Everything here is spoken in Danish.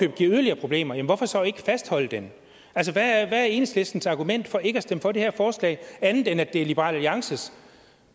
giver yderligere problemer hvorfor så ikke fastholde den altså hvad er enhedslistens argument for ikke at stemme for det her forslag andet end at det er liberal alliances